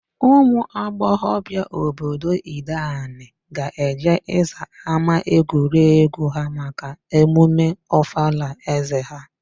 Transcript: Ụmụagbọghọbia obodo Ideanị ga-eje ịza ámáegwuregwu ha maka emume Ọfala ézē ha.